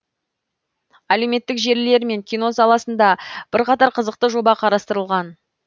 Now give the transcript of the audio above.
әлеуметтік желілер мен кино саласында бірқатар қызықты жоба қарастырылған